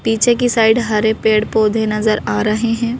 पीछे की साइड हरे पेड़-पौधे नजर आ रहे हैं।